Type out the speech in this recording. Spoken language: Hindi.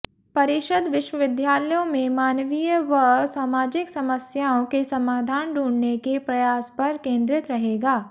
परिषद विश्वविद्यालयों में मानवीय व सामाजिक समस्याओं के समाधान ढूंढने के प्रयास पर केन्द्रित रहेगा